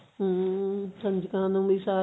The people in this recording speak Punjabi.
ਹਮ ਕੰਜਕਾਂ ਨੂੰ ਵੀ ਸਾਥ